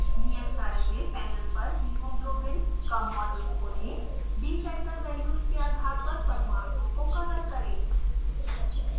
नियत कार्य में पैनल पर hemoglobin pdb code: 2hco का मॉडल खोलें bfactor वैल्यूज़ के आधार पर परमाणुओं को कलर करें